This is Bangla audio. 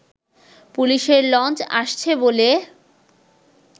পুলিশের লঞ্চ আসছে বলে